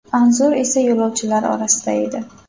Anzur esa yo‘lovchilar orasida edi.